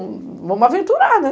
Vamos aventurar, né?